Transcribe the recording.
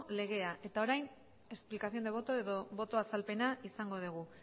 legea eta orain explicación de voto edo boto azalpena izango dugu